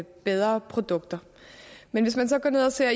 bedre produkter men hvis man så går ned og ser